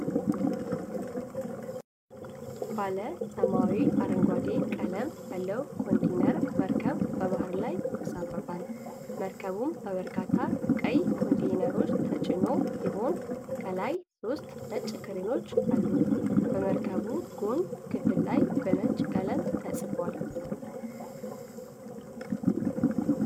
ባለ ሰማያዊ-አረንጓዴ ቀለም ያለው ኮንቴይነር መርከብ በባሕር ላይ ይንሳፈፋል። መርከቡ በበርካታ ቀይ ኮንቴይነሮች ተጭኖ ሲሆን ከላይ ሦስት ነጭ ክሬኖች አሉት። በመርከቡ የጎን ክፍል ላይ በነጭ ቀለም ተጽፏል።